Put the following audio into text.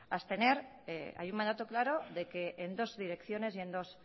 a abstener hay un mandato claro de que en dos direcciones y en dos